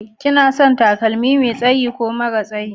Kina son takalmi Mai tsaye ko mara tsayi?